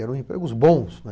Eram empregos bons.